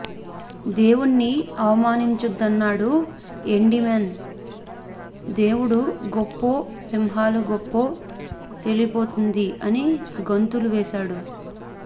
దేవుణ్ణి అవమానించొద్దన్నాడు ఎండిమాన్ దేవుడు గొప్పో సింహాలు గొప్పో తేలిపోతుంది అని గంతులు వేసాడు